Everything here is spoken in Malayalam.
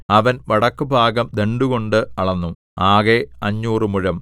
അവൻ വടക്കുഭാഗം ദണ്ഡുകൊണ്ട് അളന്നു ആകെ അഞ്ഞൂറ് മുഴം